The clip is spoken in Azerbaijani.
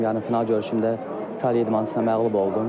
Yarı final görüşümdə İtaliyanın idmançısına məğlub oldum.